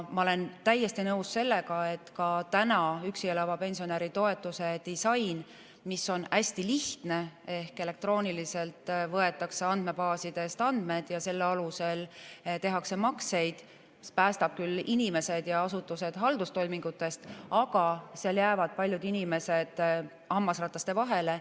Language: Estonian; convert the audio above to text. Ma olen täiesti nõus sellega, et ka praegu üksi elava pensionäri toetuse disain, mis on hästi lihtne – ehk elektrooniliselt võetakse andmebaasidest andmed ja selle alusel tehakse makseid –, päästab küll inimesed ja asutused haldustoimingutest, aga selle tõttu jäävad paljud inimesed hammasrataste vahele.